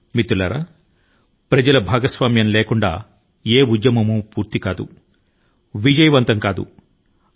మిత్రులారా ప్రజల భాగస్వామ్యం లేకుండా ఏ లక్ష్యాన్ని విజయవంతం గా సాధించలేము